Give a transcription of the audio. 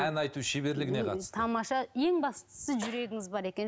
ән айту шеберлігіне қатысты тамаша ең бастысы жүрегіңіз бар екен